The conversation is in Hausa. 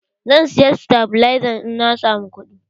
Zan saya sitabilazan in na samu kuɗi.